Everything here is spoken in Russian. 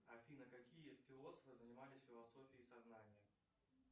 афина какие философы занимались философией сознания